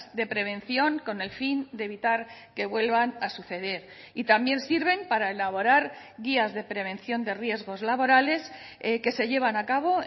de prevención con el fin de evitar que vuelvan a suceder y también sirven para elaborar guías de prevención de riesgos laborales que se llevan a cabo